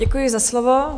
Děkuji za slovo.